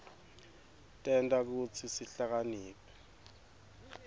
tenta kutsi sihlakaniphe